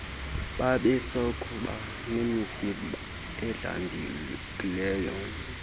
babesakuba nemizimba edlamkileyo